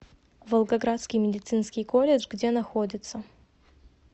волгоградский медицинский колледж где находится